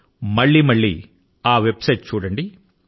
మళ్ళీ మళ్ళీ ఆ వెబ్ సైట్ ను దర్శించండి